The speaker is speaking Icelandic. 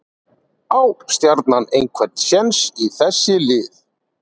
Á Stjarnan einhver séns í þessi lið?